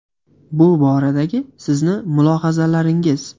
Bu boradagi sizni mulohazalaringiz?